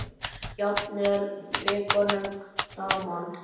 Jafnvel vikunum saman.